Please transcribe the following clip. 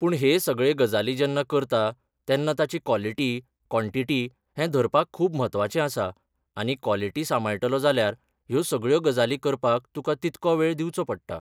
पूण हे सगळे गजाली जेन्ना करता, तेन्ना ताची कॉलिटी कॉनटिटी हे धरपाक खूब म्हत्वाचें आसा आनी कॉलिटी सांबाळटलो जाल्यार ह्यो सगळ्यो गजाली करपाक तुका तितको वेळ दिवचो पडटा.